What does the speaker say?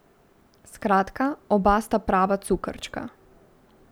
Skratka, oba sta prava cukrčka.